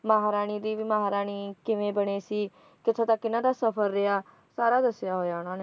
ਮਹਾਰਾਣੀ ਦੀ ਵੀ ਮਹਾਰਾਣੀ ਕਿਵੇਂ ਬਣੀ ਸੀ ਤੇ ਟੌਹਡ਼ਾ ਕਿਨਾਂ ਦਾ ਸਫ਼ਰ ਰਿਹਾ, ਸਾਰਾ ਦੱਸਿਆ ਹੋਇਆ ਹੈ ਉਨ੍ਹਾਂ ਨੇ